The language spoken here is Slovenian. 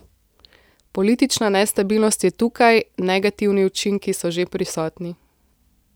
Politična nestabilnost je tukaj, negativni učinki so že prisotni.